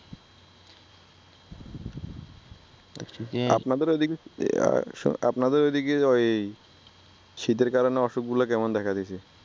আপনাদের অইদিকে আপনাদের অইদিকে অয় শীতের কারণে অসুখগুলা আপনার কেমন দেখা দিসে